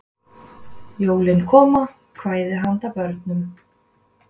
Jólin Koma: Kvæði handa börnum.